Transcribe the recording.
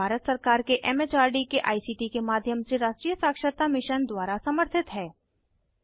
यह भारत सरकार के एम एच आर डी के आई सी टी के माध्यम से राष्ट्रीय साक्षरता मिशन द्वारा समर्थित है